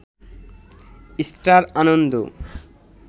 star Ananda